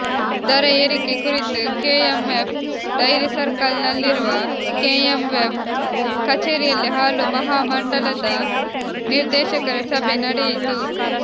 ದರ ಏರಿಕೆ ಕುರಿತು ಕೆಎಂಎಫ್ ಡೈರಿ ಸರ್ಕಲ್ ನಲ್ಲಿರುವ ಕೆಎಂಎಫ್ ಕಚೇರಿಯಲ್ಲಿ ಹಾಲು ಮಹಾಮಂಡಲದ ನಿರ್ದೇಶಕರ ಸಭೆ ನಡೆಯಿತು